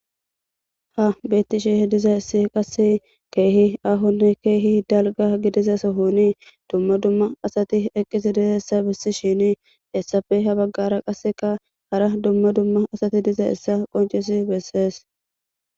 ha beetti shihi diza issi qasse keehi ahonne keehi dalga gidizaso honii dumma dumma asati eqqisi dizeessa bissi shini hessafe ha baggara qasseka hara dumma dumma asati diza issa qoncisi bessees